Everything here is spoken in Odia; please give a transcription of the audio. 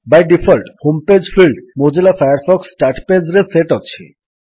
Bai default home page field Mozilla Firefox start Pageରେ ସେଟ୍ ଅଛି